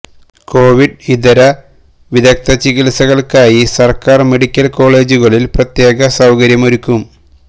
Covid ഇതര വിദഗ്ധ ചികിത്സകൾക്കായി സർക്കാർ മെഡിക്കൽ കോളജുകളിൽ പ്രത്യേക സൌകര്യമൊരുക്കും